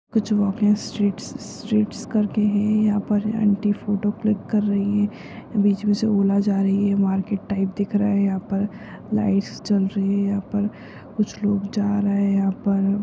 कुछ walking streets streets करके है यहा पर ये आंटी फोटो क्लिक कर रही है बीच में से ओला जा रही है मार्केट टाइप दिख रहा है यहा पर लाइट्स जल रही है यहा पर कुछ लोग जा रहे है यहा पर।